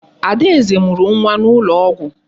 Adaeze mụrụ nwa n'ụlọ ọgwụ.